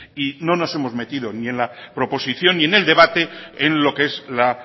y no nos hemos metido ni en la proposición ni en el debate en lo que es la